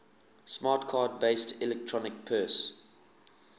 smart card based electronic purse